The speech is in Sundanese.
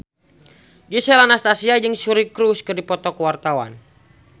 Gisel Anastasia jeung Suri Cruise keur dipoto ku wartawan